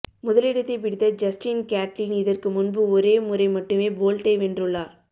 முதலிடத்தை பிடித்த Justin Gatlin இதற்கு முன்பு ஒரே முறை மட்டுமே போல்ட்டை வென்றுள்ளார்